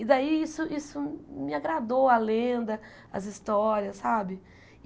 E daí isso isso me agradou, a lenda, as histórias, sabe?